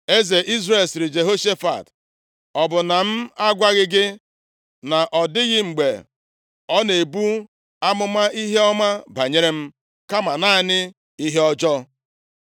Eze Izrel, sịrị Jehoshafat, “Ọ bụ na m agwaghị gị na ọ dịghị mgbe ọ na-ebu amụma ihe ọma banyere m, kama naanị ihe ọjọọ?”